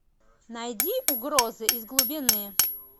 найди угрозы из глубины